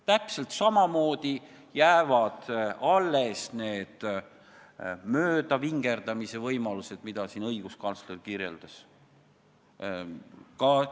Täpselt samamoodi jäävad alles need möödavingerdamise võimalused, mida õiguskantsler kirjeldas.